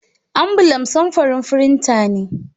Ambulaf samfurin firinta ne.